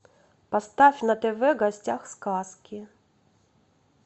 поставь на тв гостях сказки